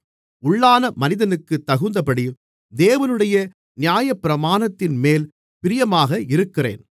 உள்ளான மனிதனுக்குத் தகுந்தபடி தேவனுடைய நியாயப்பிரமாணத்தின்மேல் பிரியமாக இருக்கிறேன்